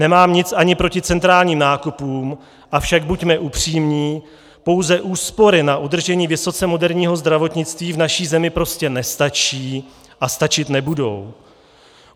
Nemám nic ani proti centrálním nákupům, avšak buďme upřímní, pouze úspory na udržení vysoce moderního zdravotnictví v naší zemi prostě nestačí a stačit nebudou.